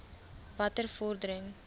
watter vordering